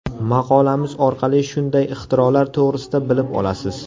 Maqolamiz orqali shunday ixtirolar to‘g‘risida bilib olasiz.